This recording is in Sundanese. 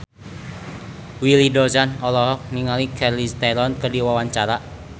Willy Dozan olohok ningali Charlize Theron keur diwawancara